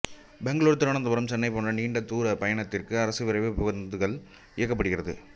பெங்களூர் திருவனந்தபுரம் சென்னை போன்ற நீண்ட தூர பயணத்திற்கு அரசு விரைவுப் பேருந்துகள் இயக்கப்படுகிறது